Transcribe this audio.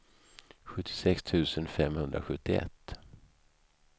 sjuttiosex tusen femhundrasjuttioett